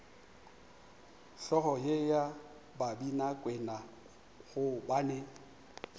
hlogo ye ya babinakwena gobane